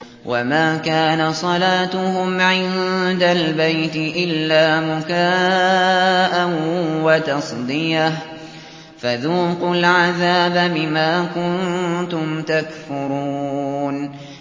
وَمَا كَانَ صَلَاتُهُمْ عِندَ الْبَيْتِ إِلَّا مُكَاءً وَتَصْدِيَةً ۚ فَذُوقُوا الْعَذَابَ بِمَا كُنتُمْ تَكْفُرُونَ